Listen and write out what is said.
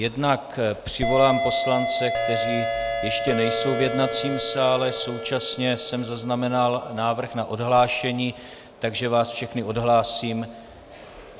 Jednak přivolám poslance, kteří ještě nejsou v jednacím sále, současně jsem zaznamenal návrh na odhlášení, takže vás všechny odhlásím.